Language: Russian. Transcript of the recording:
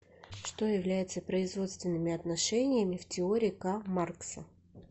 что является производственными отношениями в теории к маркса